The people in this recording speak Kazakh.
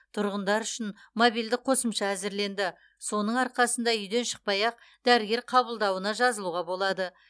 тұрғындар үшін мобильді қосымша әзірленді соның арқасында үйден шықпай ақ дәрігер қабылдауына жазылуға болады